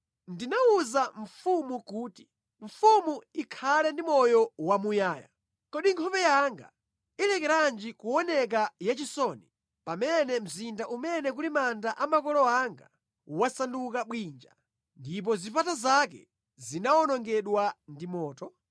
Ndinawuza mfumu kuti, “Mfumu ikhale ndi moyo wamuyaya! Kodi nkhope yanga ilekerenji kuoneka yachisoni pamene mzinda umene kuli manda a makolo anga, wasanduka bwinja ndipo zipata zake zinawonongedwa ndi moto?”